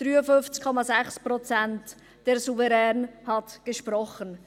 53,6 Prozent: Der Souverän hat gesprochen.